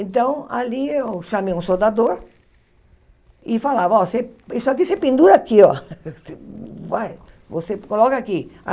Então, ali eu chamei um soldador e falava, ó, você isso aqui você pendura aqui, ó. Você coloca aqui.